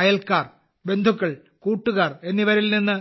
അയൽക്കാർ ബന്ധുക്കൾ കൂട്ടുകാർ എന്നിവരിൽ നിന്ന്